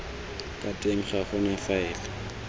ka teng ga gona faele